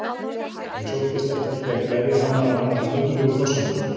Ég sóttist eftir því að gleðja hana á hennar furðulegu forsendum.